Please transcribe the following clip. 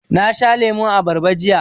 Na sha lemun abarba jiya.